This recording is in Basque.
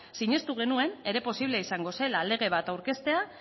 sinestun genuen ere posible izango zela lege bat aurkeztea